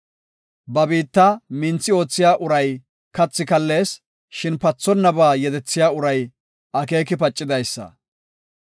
Ba biitta minthi oothiya uray kathi kallees; shin pathonnaba yedethiya uray akeeki pacidaysa.